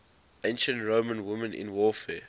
ancient roman women in warfare